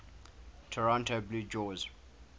toronto blue jays